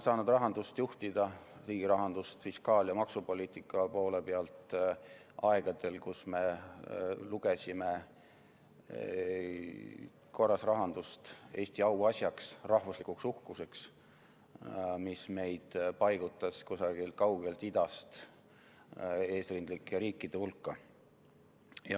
Mina sain rahandust juhtida, riigirahandust fiskaal- ja maksupoliitika poole pealt, aegadel, kui me lugesime korras rahandust Eesti auasjaks, rahvuslikuks uhkuseks, mis meid paigutas kusagilt kaugelt idast eesrindlike riikide hulka.